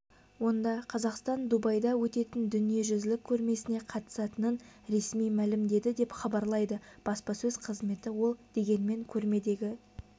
онда қазақстан дубайда өтетін дүниежүзілік көрмесіне қатысатынын ресми мәлімдеді деп хабарлайды баспасөз қызметі ол дегенмен көрмедегі